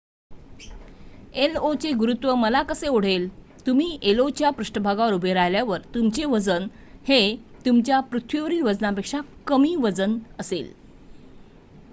io चे गुरुत्व मला कसे ओढेल तुम्ही io च्या पृष्ठभागावर उभे राहिल्यावर तुमचे वजन हे तुमच्या पृथ्वीवरील वजनापेक्षा कमी वजन असेल